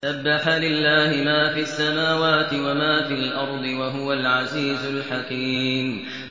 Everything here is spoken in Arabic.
سَبَّحَ لِلَّهِ مَا فِي السَّمَاوَاتِ وَمَا فِي الْأَرْضِ ۖ وَهُوَ الْعَزِيزُ الْحَكِيمُ